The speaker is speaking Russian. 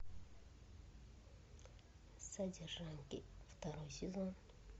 содержанки второй сезон